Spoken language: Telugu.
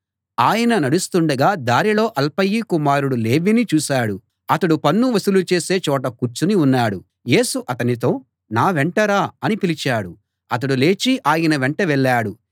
ఆయన నడుస్తుండగా దారిలో అల్ఫయి కుమారుడు లేవీని చూశాడు అతడు పన్ను వసూలు చేసే చోట కూర్చుని ఉన్నాడు యేసు అతనితో నా వెంట రా అని పిలిచాడు అతడు లేచి ఆయన వెంట వెళ్ళాడు